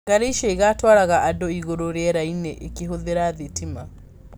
Ngari icio ĩgatwaraga andũ igũrũ rĩera-inĩ ikĩhũthĩra thitima.